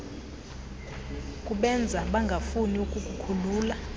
kubenza bangafuni ukukukhulula